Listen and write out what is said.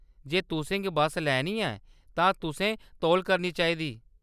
जे तुसें बस्स लैनी ऐ तां तुसें तौल करनी चाहिदी।